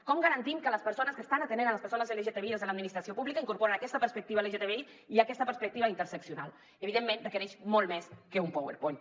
com garantim que les persones que estan atenent les persones lgtbi des de l’administració pública incorporen aquesta perspectiva lgtbi i aquesta perspectiva intersectorial evidentment requereix molt més que un powerpoint